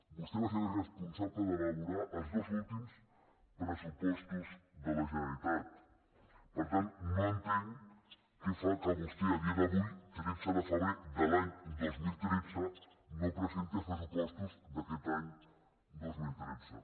vostè va ser el responsable d’elaborar els dos últims pressupostos de la generalitat per tant no entenc què fa que vostè a dia d’avui tretze de febrer de l’any dos mil tretze no presenti els pressupostos d’aquest any dos mil tretze